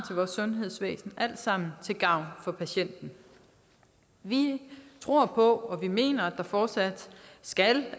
vores sundhedsvæsen alt sammen til gavn for patienten vi tror på og vi mener at der fortsat skal